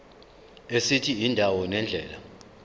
esithi indawo nendlela